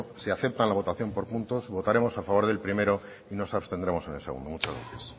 si aceptan la votación por puntos votaremos a favor del primero y nos abstendremos en el segundo muchas gracias